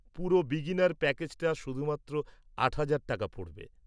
পুরো বিগিনার প্যাকেজটা শুধুমাত্র আট হাজার টাকা পড়বে।